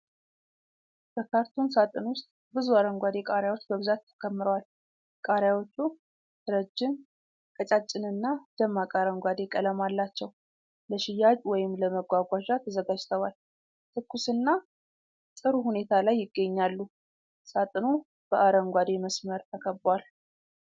በካርቶን ሳጥን ውስጥ ብዙ አረንጓዴ ቃሪያዎች በብዛት ተከምረዋል። ቃሪያዎቹ ረጅም፣ ቀጫጭንና ደማቅ አረንጓዴ ቀለም አላቸው። ለሽያጭ ወይም ለመጓጓዣ ተዘጋጅተዋል። ትኩስና ጥሩ ሁኔታ ላይ ይገኛሉ። ሳጥኑ በአረንጓዴ መስመር ተከቧል።